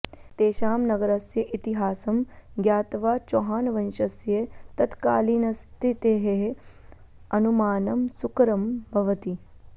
तेषां नगरस्य इतिहासं ज्ञात्वा चौहानवंशस्य तत्कालीनस्थितेः अनुमानं सुकरं भवति